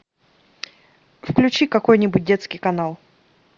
включи какой нибудь детский канал